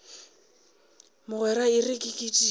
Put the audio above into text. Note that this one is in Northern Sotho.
mogwera e re ke kitimele